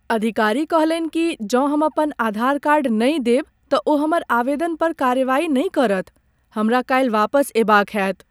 अधिकारी कहलनि कि जौं हम अपन आधार कार्ड नहि देब तऽ ओ हमर आवेदन पर कार्रवाई नहि करत। हमरा काल्हि वापस अएबाक होएत।